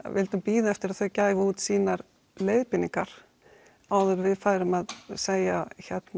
vildum bíða eftir að þau gæfu út sínar leiðbeiningar áður en við færum að segja